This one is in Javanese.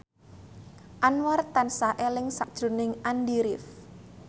Anwar tansah eling sakjroning Andy rif